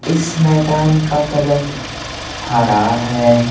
इस मैदान का कलर हरा है।